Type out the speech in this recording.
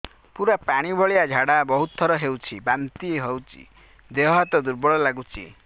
ପୁରା ପାଣି ଭଳିଆ ଝାଡା ବହୁତ ଥର ହଉଛି ବାନ୍ତି ହଉଚି ଦେହ ହାତ ଦୁର୍ବଳ ଲାଗୁଚି